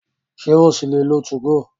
Ṣé o ṣì lè lo 2go?